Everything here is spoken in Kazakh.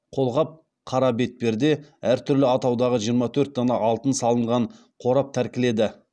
қолғап қара бетперде әртүрлі атаудағы жиырма төрт дана алтын салынған қорап тәркіледі